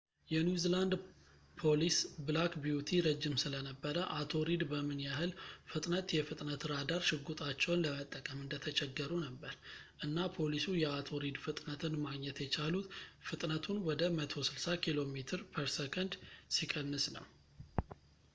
የኒው ዚላንድ ፖሊስ ብላክ ቢዩቲ ረጅም ስለነበረ አቶ ሪድ በምን ያህል ፍጥነት የፍጥነት ራዳር ሽጉጣቸውን ለመጠቀም እየተቸገሩ ነበር፣ እና ፖሊሱ የአቶ ሪድ ፍጥነትን ማግኘት የቻሉት ፍጥነቱን ወደ 160 ኪሜ/ሰ ሲቀንስ ነው